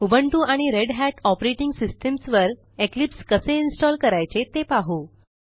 Ubuntu आणि Red Hat operating systems वर Eclipse कसे इन्स्टॉल करायचे ते पाहू